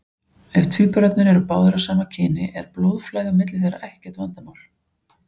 Ef tvíburarnir eru báðir af sama kyni er blóðflæði á milli þeirra ekkert vandamál.